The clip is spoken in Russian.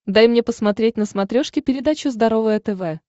дай мне посмотреть на смотрешке передачу здоровое тв